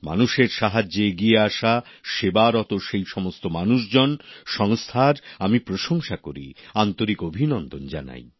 মানুষের সাহায্যে এগিয়ে আসা সেবারত সেই সমস্ত মানুষজন সংস্থার আমি প্রশংসা করি আন্তরিক অভিনন্দন জানাই